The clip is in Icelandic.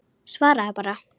Svaraðu bara.